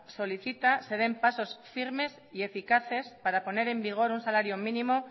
solicita se den pasos firmes y eficaces para poner en vigor un salario mínimo